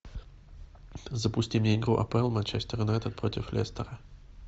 запусти мне игру апл манчестер юнайтед против лестера